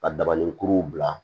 Ka dabalikuru bila